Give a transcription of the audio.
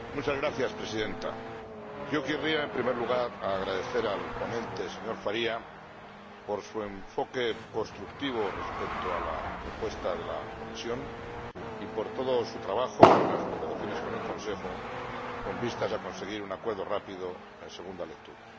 Señora Presidenta, yo querría, en primer lugar, agradecer al ponente, el señor Faria, su enfoque constructivo respecto a la propuesta de la Comisión y todo su trabajo en las negociaciones con el Consejo con vistas a conseguir un acuerdo rápido en segunda lectura.